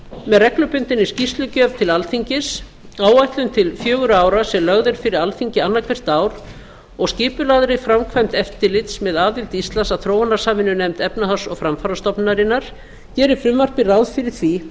með reglubundinni skýrslugjöf til alþingis áætlun til fjögurra ára sem lögð er fyrir alþingi annað hvert ár og skipulagðri framkvæmd eftirlits með aðild íslands að þróunarsamvinnunefnd efnahags og framfarastofnunarinnar gerir frumvarpið ráð fyrir því